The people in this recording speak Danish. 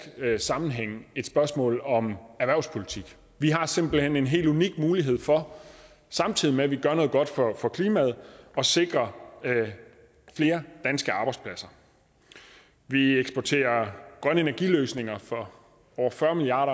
sammenhæng et spørgsmål om erhvervspolitik vi har simpelt hen en helt unik mulighed for samtidig med at vi gør noget godt for for klimaet at sikre flere danske arbejdspladser vi eksporterer grønne energiløsninger for over fyrre milliard